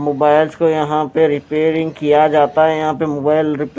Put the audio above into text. mobiles को यहां पे रिपेयरिंग किया जाता है यहां पे मोबाइल रिपे--